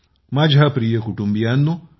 माझ्या प्रिय कुटुंबियानो